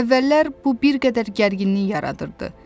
Əvvəllər bu bir qədər gərginlik yaradırdı.